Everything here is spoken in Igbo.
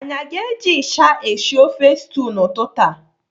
Anyị aga eji ịsha eshi ofe stew n'ụtụtụ a?